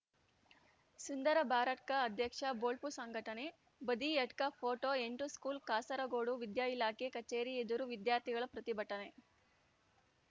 ಸುಂದರ ಬಾರಡ್ಕ ಅಧ್ಯಕ್ಷ ಬೊಳ್ಪು ಸಂಘಟನೆ ಬದಿಯಡ್ಕ ಫೋಟೋ ಎಂಟು ಸ್ಕೂಲ್‌ಕಾಸರಗೋಡು ವಿದ್ಯಾ ಇಲಾಖೆ ಕಚೇರಿ ಎದುರು ವಿದ್ಯಾರ್ಥಿಗಳ ಪ್ರತಿಭಟನೆ